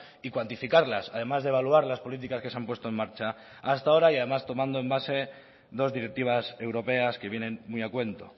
y cuantificarlas además de evaluar las políticas que se han puesto en marcha hasta ahora y además tomando en base dos directivas europeas que vienen muy a cuento